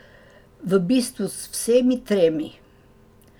V bistvu z vsemi tremi ...